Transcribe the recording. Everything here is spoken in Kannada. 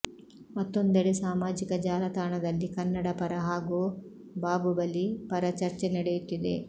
ಮತ್ತೊಂದೆಡೆ ಸಾಮಾಜಿಕ ಜಾಲತಾಣದಲ್ಲಿ ಕನ್ನಡ ಪರ ಹಾಗೂ ಬಾಬುಬಲಿ ಪರ ಚರ್ಚೆ ನಡೆಯುತ್ತಿದೆ